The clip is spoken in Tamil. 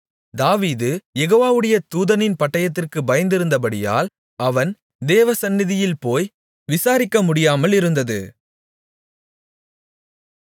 தாவீது யெகோவாவுடைய தூதனின் பட்டயத்திற்குப் பயந்திருந்தபடியால் அவன் தேவசந்நிதியில் போய் விசாரிக்கமுடியாமலிருந்தது